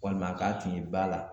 Walima k'a tun ye ba la